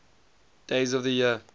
days of the year